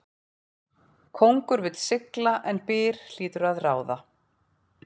Kóngur vill sigla en byr hlýtur að ráða.